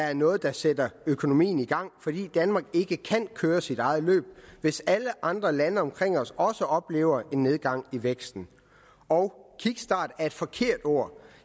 er noget der sætter økonomien i gang fordi danmark kan ikke køre sit eget løb hvis alle andre lande omkring os også oplever en nedgang i væksten og kickstart er et forkert ord